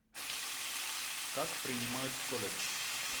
как принимают в колледж